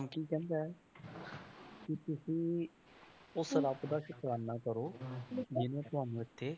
ਕੀ ਕਹਿੰਦਾ ਹੈ ਵੀ ਤੁਸੀਂ ਉਸ ਰੱਬ ਦਾ ਸ਼ੁਕਰਾਨਾ ਕਰੋ ਜਿਹਨੇ ਤੁਹਾਨੂੰ ਇੱਥੇ,